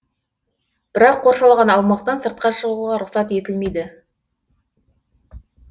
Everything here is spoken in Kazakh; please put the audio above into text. бірақ қоршалған аумақтан сыртқа шығуға рұқсат етілмейді